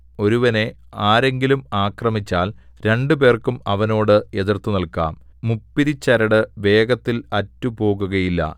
ഒരുവനെ ആരെങ്കിലും ആക്രമിച്ചാൽ രണ്ടുപേർക്കും അവനോട് എതിർത്തുനില്ക്കാം മുപ്പിരിച്ചരട് വേഗത്തിൽ അറ്റുപോകുകയില്ല